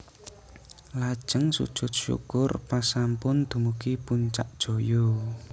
Lajeng sujud syukur pas sampun dumugi Puncak Jaya